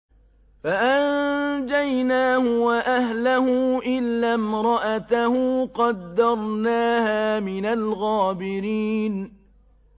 فَأَنجَيْنَاهُ وَأَهْلَهُ إِلَّا امْرَأَتَهُ قَدَّرْنَاهَا مِنَ الْغَابِرِينَ